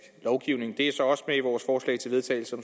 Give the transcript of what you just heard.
lovgivning det er så også med i vores forslag til vedtagelse